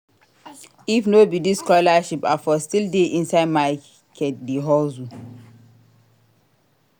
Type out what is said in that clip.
If no be dis scholarship I for still dey inside main market dey hustle.